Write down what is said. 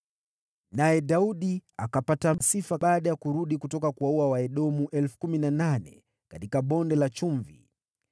Naye Daudi akapata sifa baada ya kurudi kutoka kuwaua Waedomu 18,000 katika Bonde la Chumvi.